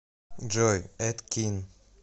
джой эд кин